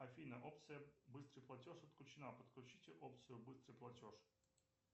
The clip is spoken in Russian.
афина опция быстрый платеж отключена подключите опцию быстрый платеж